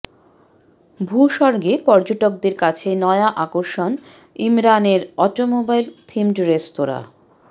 ভূস্বর্গে পর্যটকদের কাছে নয়া আকর্ষণ ইমরানের অটোমোবাইল থিমড রেস্তরাঁ